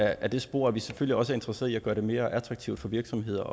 ad det spor at vi selvfølgelig også er interesseret i at gøre det mere attraktivt for virksomheder